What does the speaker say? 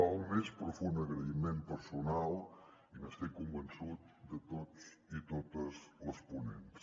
el més profund agraïment personal i n’estic convençut de tots i totes les ponents